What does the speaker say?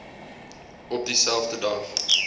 op dieselfde dag